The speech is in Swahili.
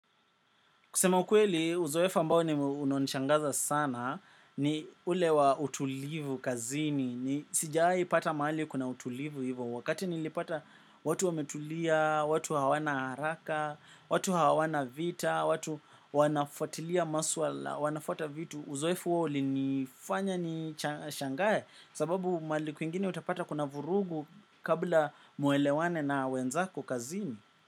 Kusema ukweli, uzoefo ambao ni unaonishangaza sana ni ule wa utulivu kazini. Ni sijaipata mahali kuna utulivu hivyo. Wakati nilipata watu wametulia, watu hawana haraka, watu hawana vita, watu wanafotilia maswala, wanafuata vitu. Uzoefo huo ulinifanya nishangaye sababu maali kwingine utapata kuna vurugu kabla muelewane na wenzaku kazini.